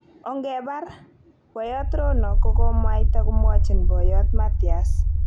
Ongebar ," boyot Rono kokokomwaita komwochin boyo Matias.